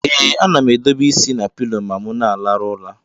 Ee anam edobe isi na pilo ma mu na alarụ ụla.